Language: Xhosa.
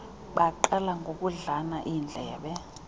baqala ngokudlana iindlebe